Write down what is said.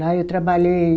Lá eu trabalhei...